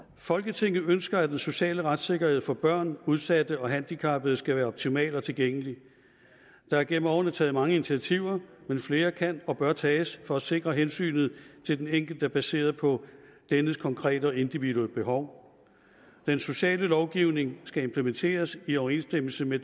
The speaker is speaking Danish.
folketinget ønsker at den sociale retssikkerhed for børn udsatte og handicappede skal være optimal og tilgængelig der er gennem årene taget mange initiativer men flere kan og bør tages for at sikre hensynet til den enkelte baseret på dennes konkrete og individuelle behov den sociale lovgivning skal implementeres i overensstemmelse med